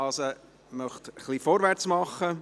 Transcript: Ich möchte also etwas vorwärtsmachen.